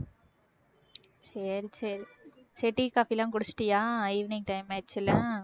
சரி சரி tea, coffee லாம் குடிச்சிட்டியா evening time ஆச்சுல